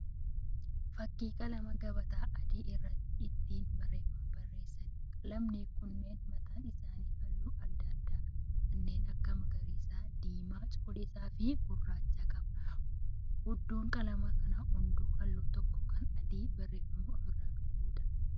Fakkii qalama gabataa adii irratti ittin barreeffama barreessanii. qalamoonni kunniin mataan isaanii halluu adda addaa kan akka: magariisa, diimaa, cuquliisa fi gurraacha qaba. Hundeen qalama kanaa hunduu halluu tokko kan adii barreeffama ofirraa qabuudha.